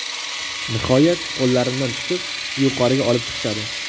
Nihoyat qo‘llarimdan tutib, yuqoriga olib chiqishadi.